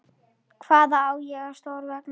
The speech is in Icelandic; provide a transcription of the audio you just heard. Hvaðan á mig stóð veðrið.